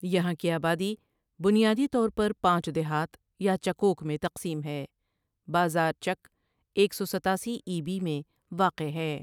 یہاں کی آبادی بنیادی طور پر پانچ دیہات یا چکوک میں تقسیم ہے بازار چک ایک سو ستاسی ای بی میں واقع ہے ۔